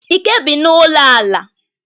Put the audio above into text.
Ike bi n'ụlọ ala.